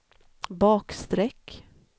bakstreck